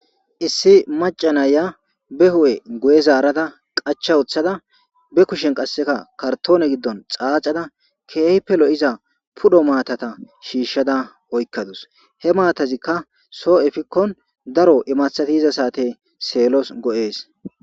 Issi macanaya be hu7e gu7e zaarada qacha uththada be kushen qasseka kartoone giddon xaacada keehippelo7iza pudho maatata shiishshada oykkadus he maatazikka soo efikkon daro imathati iza saate seellos go7ees.